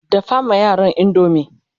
dafa ma yaran indomie!